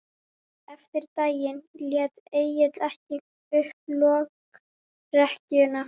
En eftir um daginn lét Egill ekki upp lokrekkjuna.